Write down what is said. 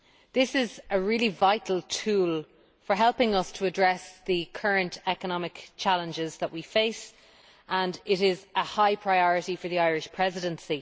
This is a really vital tool for helping us to address the current economic challenges that we face, and it is a high priority for the Irish Presidency.